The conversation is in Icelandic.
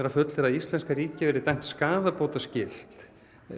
að fullyrða að íslenska ríkið verði dæmt skaðabótaskylt